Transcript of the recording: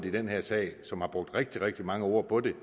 i den her sag og som har brugt rigtig rigtig mange ord på det